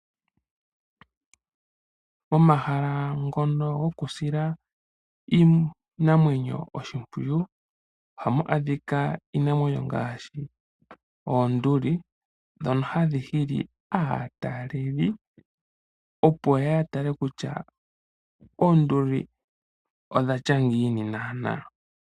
Omahala ngono gokusila iinamwenyo oshimpwiyu ohamu a dhika iinamwenyo ngaashi oonduli dhoka hadhi hili aatalelipo yo ya tale kutya oonduli dho dhene odha tya ngiini naanaa.